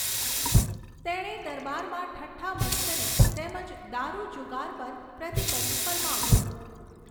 તેણે દરબારમાં ઠઠ્ઠા મશ્કરી તેમજ દારૂ જુગાર પર પ્રતિબંધ ફરમાવ્યો.